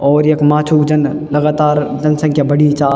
और यख माछो जन लगातार जनसँख्या बड़ी चा।